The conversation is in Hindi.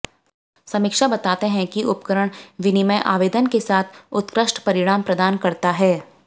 समीक्षा बताते हैं कि उपकरण विनिमय आवेदन के साथ उत्कृष्ट परिणाम प्रदान करता है